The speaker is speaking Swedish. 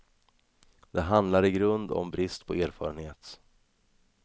Det handlar i grunden om brist på erfarenhet.